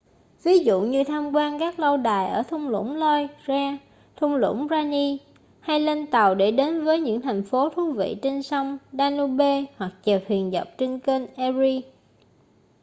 ví dụ như tham quan các lâu đài ở thung lũng loire thung lũng rhine hay lên tàu để đến với những thành phố thú vị trên sông danube hoặc chèo thuyền dọc theo kênh erie